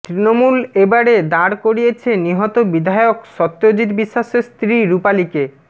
তৃণমূল এবারে দাঁড় করিয়েছে নিহত বিধায়ক সত্যজিৎ বিশ্বাসের স্ত্রী রূপালীকে